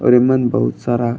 और इमन बहुत सारा --